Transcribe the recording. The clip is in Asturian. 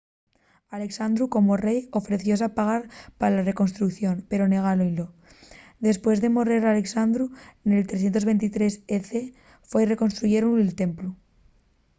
alexandru como rei ofrecióse a pagar pa la reconstrucción pero negáron-ylo dempués de morrer alexandru nel 323 e.c. foi reconstruyíu'l templu